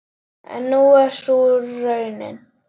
En er sú raunin?